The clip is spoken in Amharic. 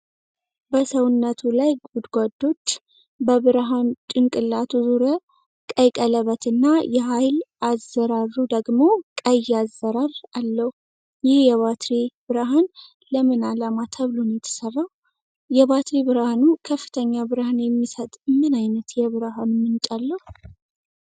በሰውነቱ ላይ ጎድጎዶች፣ በብርሃን ጭንቅላቱ ዙሪያ ቀይ ቀለበት እና የኃይል አዝራሩ ደግሞ ቀይ አዝራር አለው። ይህ የባትሪ ብርሃን ለምን ዓላማ ተብሎ ነው የተሰራው? የባትሪ ብርሃኑ ከፍተኛ ብርሃን የሚሰጥ ምን ዓይነት የብርሃን ምንጭ አለው?